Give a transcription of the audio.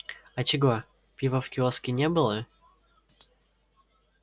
а чего пива в киоске не было